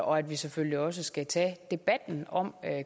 og at vi selvfølgelig også skal tage debatten om